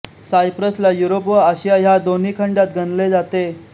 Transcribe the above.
सायप्रसला Europe व Asia ह्या दोन्ही खंडांत गणले जाते